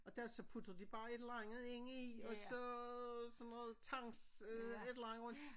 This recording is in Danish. Og der så putter de bare et eller andet ind i og så sådan noget tangs øh et eller andet og